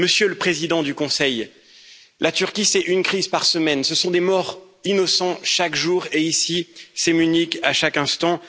Monsieur le Président du Conseil, la Turquie, c'est une crise par semaine, ce sont des morts d'innocents chaque jour, et ici, c'est Munich à chaque instant.